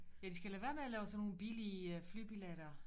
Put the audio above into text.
Ja de skal lade være med at lave sådan nogle billige flybilletter